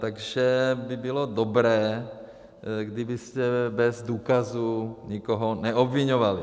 Takže by bylo dobré, kdybyste bez důkazů nikoho neobviňovali.